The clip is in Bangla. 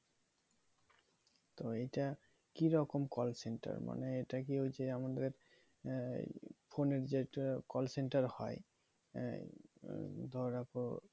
তো এইটা কি রকম call center মানে এইটা কি ওই যে এমন যে আহ phone এর যেটা call center হয়ে এই ধরে রাখো